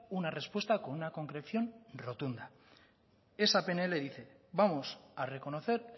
una respuesta con una concreción rotunda esa pnl dice vamos a reconocer